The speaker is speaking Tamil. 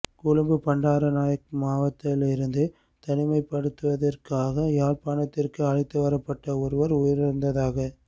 கொழும்பு பண்டாரநாயக்க மாவத்தையிலிருந்து தனிமைப்படுத்தலிற்காக யாழ்ப்பாணத்திற்கு அழைத்து வரப்பட்ட ஒருவர் உயிரிழந்ததாக